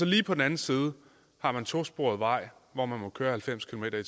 lige på den anden side en tosporet vej hvor man må køre halvfems kilometer